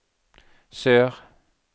sør